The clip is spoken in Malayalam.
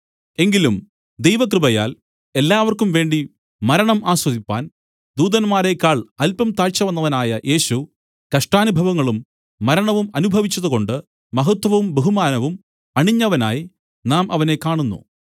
എങ്കിലും ദൈവകൃപയാൽ എല്ലാവർക്കുംവേണ്ടി മരണം ആസ്വദിപ്പാൻ ദൂതന്മാരേക്കാൾ അല്പം താഴ്ച വന്നവനായ യേശു കഷ്ടാനുഭവങ്ങളും മരണവും അനുഭവിച്ചതുകൊണ്ട് മഹത്വവും ബഹുമാനവും അണിഞ്ഞവനായി നാം അവനെ കാണുന്നു